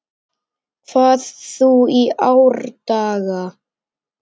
hvað þú í árdaga